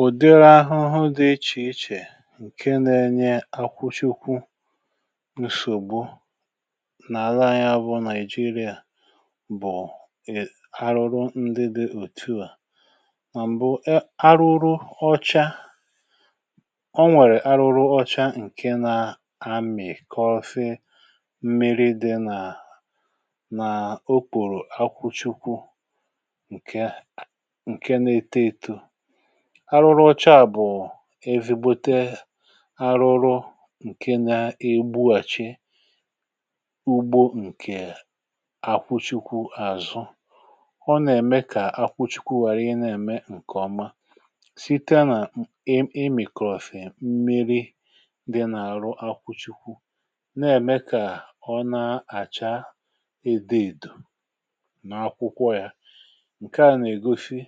ùdiri ahụhụ dị ichè ichè nke a na-enye akwụchekwụ n’ìsògbo nà àla anyȧ bụ nigeria bụ̀ ì arụrụ ndị dị òtu à mà m̀bụ arụrụ ọcha o nwèrè arụrụ ọcha ǹke nȧ-amị̀ kọfe mmiri dị nà nà o kwùrù akwụchekwụ arụrụ ọcha bụ̀ evigbote arụrụ ǹke na-egbuàchi ugbo ǹkè àkwụchikwu àzụ ọ nà-ème kà akwụchikwu wari ịna-ème ǹkèọma site nà imikọ̀fè, mmiri̇ dị n’àrụ akwụchikwu na-ème kà ọ na-àcha edė èdò nà akwụkwọ yȧ ǹke à nà-ègosi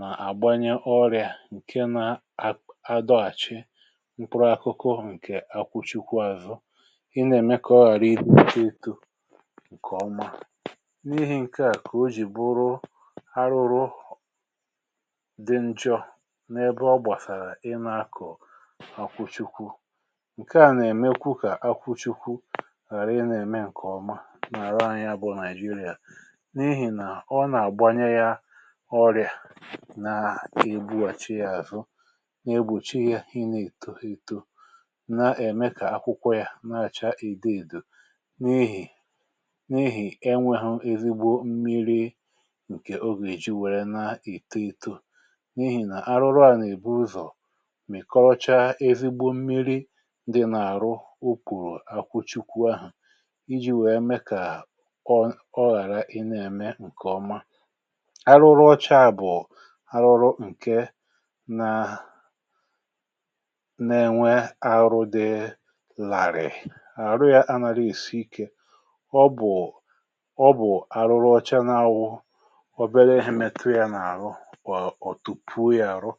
nà-àgbanye ọrịà ǹke na-adọghàchị mkpụrụ akụkụ ǹkè akwụchikwu azụ ị na-èmeka ọrịra ịtụta etu ǹkè ọma n’ihi ǹkè a kà o jì bụrụ arụrụ dị njọ n’ebe ọ gbàsàrà ị na-akọ akwụchikwu ǹkè a nà-èmeka ka akwụchikwu ghàra ị nà-ème ǹkè ọma nà-àra anyȧ bụ nigeria ọrịà na egbuàchi yȧ àzụ na-egbùchi yȧ ịnė èto itȯ na-ème kà akwụkwọ yȧ na-àcha ìdo ìdo n’ihì n’ihì enwėhu̇ ezigbo mmiri̇ ǹkè ogè èji wère na-èto itȯ n’ihì nà arụrụ à nà èbu ụzọ̀ mị̀ kọrọcha ezigbo mmiri̇ dị nà-àrụ okùrù akwụchikwu ahụ̀ iji̇ wèe mee kà ọ ghàra ị na-ème ǹkè ọma arụrụ ǹke na na-ènwe arụ dị làrị̀ị̀ àrụ yȧ anȧrị̇ èsi ikė ọ bụ̀ ọ bụ̀ arụrụ ọcha na-awụ̇ ọbẹre ịhị mẹtụ yȧ n’àrụ ọ̀ tùpù yȧ àrụ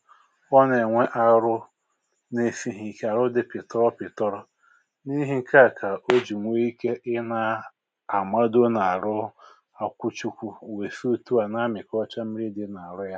ọ nà-ènwe arụrụ na-esighi ikė àrụ dị pìtọrọ pìtọrọ n’ihì ǹke à kà o jì nwee ike ịna àmado n’àrụ ǹké